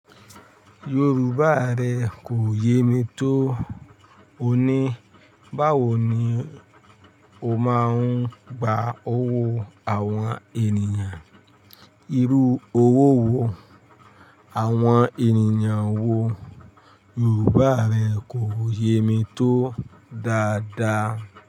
Yorùbá rẹ kò yé mi tó. O ní, báwo ni o máa ń gba owó àwọn ènìyàn? Irú owó wo àwọn ènìyàn ń wò? Yorùbá rẹ kò yé mi tó dáadáa.